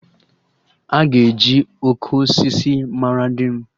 Aga eji 'Oke osisi' mara di m